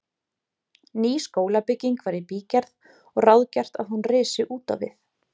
Ný skólabygging var í bígerð og ráðgert að hún risi útvið